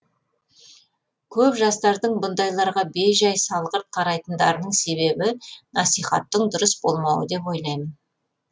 көп жастардың бұндайларға бей жай салғырт қарайтындарының себебі насихаттың дұрыс болмауы деп ойлаймын